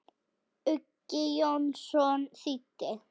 Uggi Jónsson þýddi.